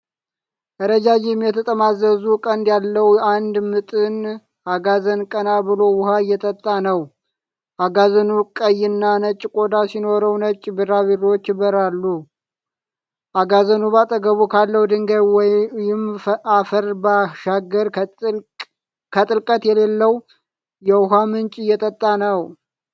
ረጃጅም፣ የተጠማዘዙ ቀንድ ያለው አንድ ምጥን አጋዘን ቀና ብሎ ውሃ እየጠጣ ነው። አጋዘኑ ቀይና ነጭ ቆዳ ሲኖረው፣ ነጭ ቢራቢሮዎች ይበርራሉ። አጋዘኑ በአጠገቡ ካለው ድንጋይ ወይም አፈር ባሻገር ከጥልቀት የሌለው የውሃ ምንጭ እየጠጣ ነው።